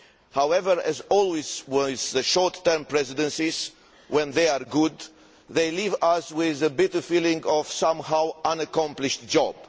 However, as always with the short term presidencies, when they are good, they leave us with a bitter feeling of a somehow unaccomplished job.